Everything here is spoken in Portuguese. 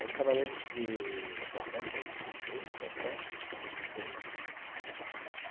Aí trabalhei de setenta e oito até oitenta e oito.